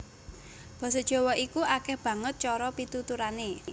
Basa Jawa iku akèh banget cara pituturané